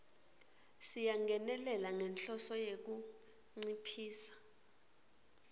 siyangenelela ngenhloso yekunciphisa